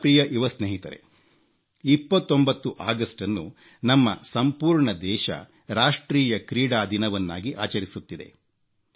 ನನ್ನ ಪ್ರಿಯ ಯುವ ಸ್ನೇಹಿತರೇ 29 ಆಗಸ್ಟನ್ನು ನಮ್ಮ ಸಂಪೂರ್ಣ ದೇಶ ರಾಷ್ಟ್ರೀಯ ಕ್ರೀಡಾ ದಿನವನ್ನಾಗಿ ಆಚರಿಸುತ್ತಿದೆ